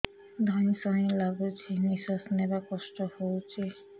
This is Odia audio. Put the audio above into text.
ଧଇଁ ସଇଁ ଲାଗୁଛି ନିଃଶ୍ୱାସ ନବା କଷ୍ଟ ହଉଚି